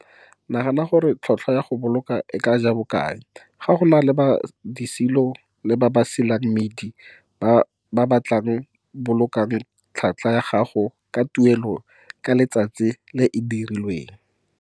Nagana gore tlhotlhwa ya go boloka e tlaa ja bokae. Go na le ba disilo le ba ba silang mmidi ba ba tlaa bolokang tlhaka ya gago ka tuelo ka letsatsi e e rileng.